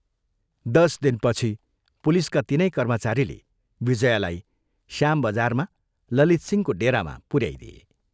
दश दिनपछि पुलिसका तिनै कर्मचारीले विजयालाई श्याम बजारमा ललितसिंहको डेरामा पुऱ्याइदिए।